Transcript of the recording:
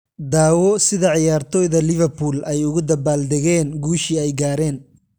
Daawo sida ciyaartoyda Liverpool ay ugu dabaal dageen guushii ay gaareen